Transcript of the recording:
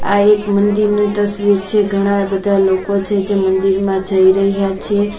આ એક મંદિરનું તસ્વીર છે ઘણા બધા લોકો છે જે મંદિરમાં જઈ રહ્યા છે.